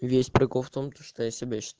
весь прикол в том то что я себя счит